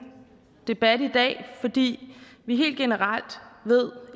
debat i dag fordi vi helt generelt ved